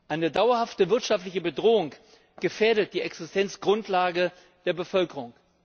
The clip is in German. Eine dauerhafte wirtschaftliche Bedrohung gefährdet die Existenzgrundlage der Bevölkerung.